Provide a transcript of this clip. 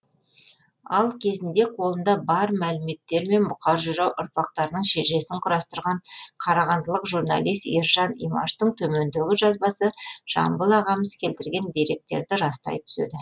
ал кезінде қолында бар мәліметтермен бұқар жырау ұрпақтарының шежіресін құрастырған қарағандылық журналист ержан имаштың төмендегі жазбасы жамбыл ағамыз келтірген деректерді растай түседі